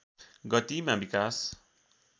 गतिमा विकास